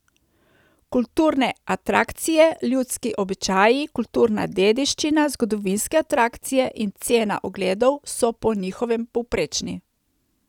Kulturne atrakcije, ljudski običaji, kulturna dediščina, zgodovinske atrakcije in cena ogledov so po njihovem povprečni.